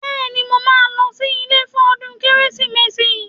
Bẹ́ẹ̀ni, mo máa lọ sí ilé fún ọdún Kérésìmesì